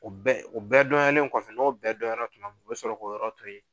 O bɛɛ , o bɛɛ dɔnyalen kɔfɛ n'o bɛɛ dɔnyala tumami u be sɔrɔ k'o yɔrɔ to yen